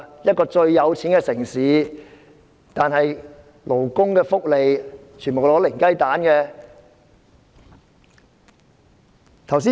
這個富裕的城市在勞工福利方面只得零分。